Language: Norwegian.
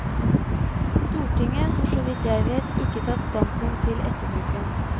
Stortinget har så vidt jeg vet ikke tatt standpunkt til etterbruken.